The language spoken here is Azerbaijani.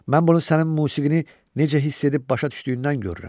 Mən bunu sənin musiqini necə hiss edib başa düşdüyündən görürəm.